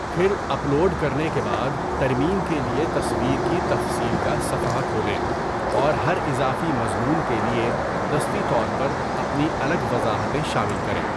پھر، upload کرنے کے بعد ترمیم کے لیے تصویر کی تفصیل کا صفحہ کھولیں اور ہر اضافی مضمون کے لیے دستی طور پر اپنی الگ وضاحتیں شامل کریں۔